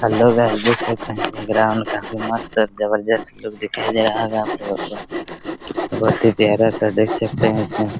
hello guys देख सकते हैं ये ग्राउंड काफी मस्त है | जबरदस्त लोग दिखाई दे रहा होगा आपलोग को बहुत ही प्यारा सा देख सकते है इसमे |